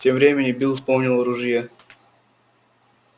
тем временем билл вспомнил о ружье